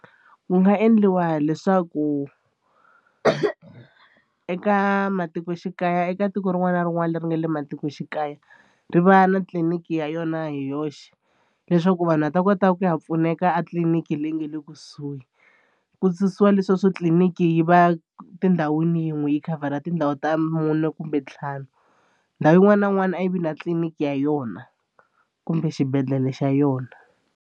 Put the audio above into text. Ku nga endliwa leswaku eka matikoxikaya eka tiko rin'wana na rin'wana leri nga le matikoxikaya ri va na tliliniki ya yona hi yoxe leswaku vanhu va ta kota ku ya pfuneka a tliliniki leyi nga le kusuhi. Ku susiwa leswiya swo tliliniki yi va tindhawini yin'we yi khavhara tindhawu ta mune kumbe ntlhanu ndhawu yin'wana na yin'wana a yi vi na tliliniki ya yona kumbe xibedhlele xa yona.